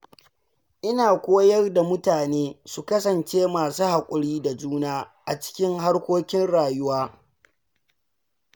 Ina koyar da mutane su kasance masu haƙuri da juna a cikin harkokin rayuwa.